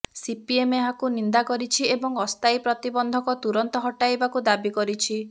CPM ଏହାକୁ ନିନ୍ଦା କରିଛି ଏବଂ ଅସ୍ଥାୟୀ ପ୍ରତିବନ୍ଧକ ତୁରନ୍ତ ହଟାଇବାକୁ ଦାବି କରିଛି